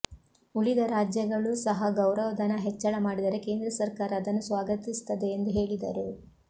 ಉಳಿದ ರಾಜ್ಯಗಳೂ ಸಹ ಗೌರವಧನ ಹೆಚ್ಚಳ ಮಾಡಿದರೆ ಕೇಂದ್ರ ಸರ್ಕಾರ ಅದನ್ನು ಸ್ವಾಗತಿಸುತ್ತದೆ ಎಂದು ಹೇಳಿದರು